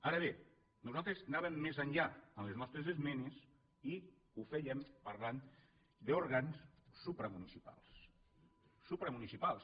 ara bé nosaltres anàvem més enllà en les nostres esmenes i ho fèiem parlant d’òrgans supramunicipals supramunicipals